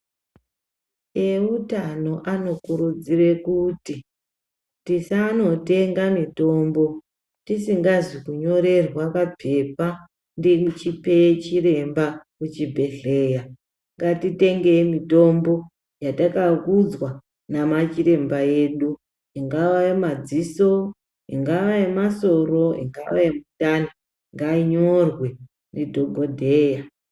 Eutano anokurudzire kuti tisanotenga mitombo tisingazi kunyorerwa papepa ndichipe chiremba muchibhedhlera. Ngatitengei mitombo yatakaudzwa nemachiremba edu, ingaa yemadziso, ingaa yemasoro, ingaa yemindani, ngainyorwe ndidhokodheya.